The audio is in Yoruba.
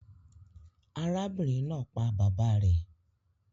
Arábìnrin naa pa bàbá rè